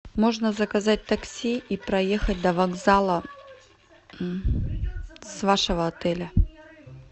можно заказать такси и проехать до вокзала с вашего отеля